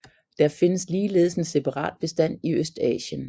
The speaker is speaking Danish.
Der findes ligeledes en separat bestand i Østasien